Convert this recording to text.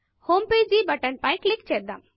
Homepageహోమ్ page button పై click చేద్దాం